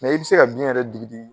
i bɛ se ka biyɛn yɛrɛ digi digi